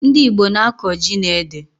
Ndị Igbo na-akọ ji na ede